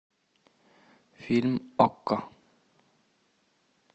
фильм окко